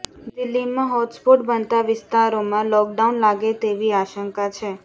દિલ્લીમાં હોટસ્પોટ બનતા વિસ્તારોમાં લોકડાઉન લાગે તેવી આશંકા છે